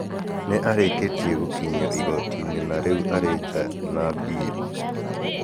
Nĩ arĩkĩtie gũkinyio igooti-inĩ na rĩu arĩ nja na bĩrũ.